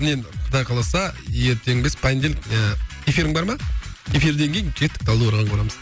мен құдай қаласа ертең емес понедельник ыыы эфирің бар ма эфирден кейін кеттік талдықорғанға барамыз